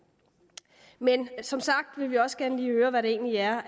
men som sagt vil vi også gerne lige høre hvad der egentlig er